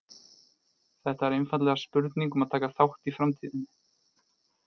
Þetta er einfaldlega spurning um að taka þátt í framtíðinni!